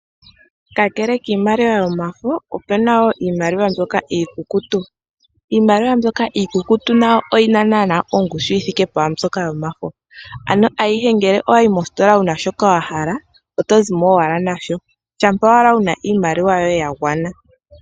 Kakele kiimaliwa yomafo opuna wo iimaliwa mbyoka iikukutu. Iimaliwa mbyoka iikukutu nayo oyi na naanaa ongushu yi thike pwaa mbyoka yomafo. Ano ayihe ngele owayi mositola wuna sho wa hala oto zimo owala nasho shampa owala wuna iimaliwa yoye ya gwana.